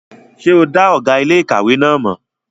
Ṣé o dá ọ̀gá iléèkàwé náà mọ̀?